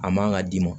A man ka d'i ma